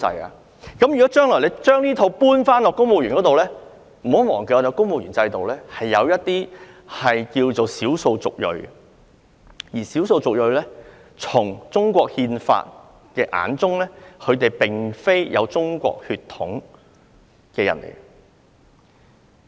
如果政府將來要求高級公務員宣誓，不要忘記，公務員制度下有少數族裔人士，但根據中國憲法，他們並非有中國血統的人。